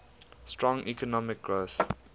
strong economic growth